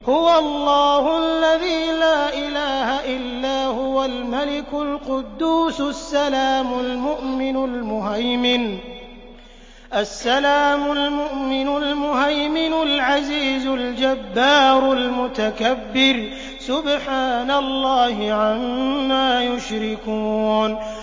هُوَ اللَّهُ الَّذِي لَا إِلَٰهَ إِلَّا هُوَ الْمَلِكُ الْقُدُّوسُ السَّلَامُ الْمُؤْمِنُ الْمُهَيْمِنُ الْعَزِيزُ الْجَبَّارُ الْمُتَكَبِّرُ ۚ سُبْحَانَ اللَّهِ عَمَّا يُشْرِكُونَ